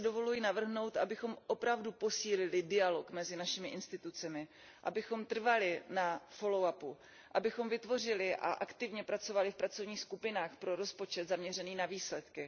Závěrem si dovoluji navrhnout, abychom opravdu posílili dialog mezi našimi orgány, abychom trvali na follow up abychom vytvořili a aktivně pracovali v pracovních skupinách pro rozpočet zaměřený na výsledky.